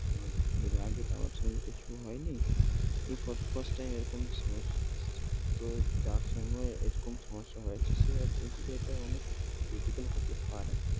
আমার কি এর আগে সঙ্গে কিছু হয়নি। এই first time এরকম সমস্যা আসছে। তো তো যার সঙ্গে এরকম সমস্যা হয়েছে সে বলছে যে এটা অনেক critical হতে পারে।